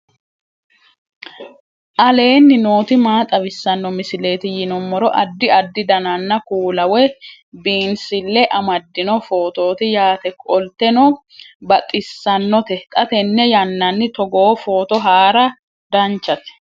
aleenni nooti maa xawisanno misileeti yinummoro addi addi dananna kuula woy biinsille amaddino footooti yaate qoltenno baxissannote xa tenne yannanni togoo footo haara danvchate